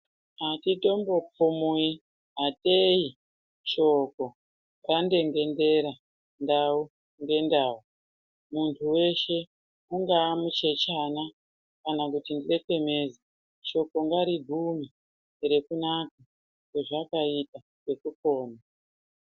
Atitombophumuyi ateyi shoko randengendera ndau ngendau. Muntu weshe ungaa muchechana, kana kuti ndlekenezi, shoko ngarigume rekunaka kwezvakaita rekupona.